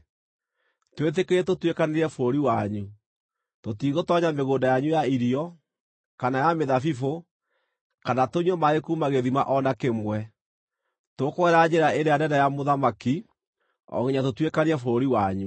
“Twĩtĩkĩrie tũtuĩkanĩrie bũrũri wanyu. Tũtigũtoonya mĩgũnda yanyu ya irio, kana ya mĩthabibũ, kana tũnyue maaĩ kuuma gĩthima o na kĩmwe. Tũkũgerera njĩra ĩrĩa nene ya mũthamaki o nginya tũtuĩkanie bũrũri wanyu.”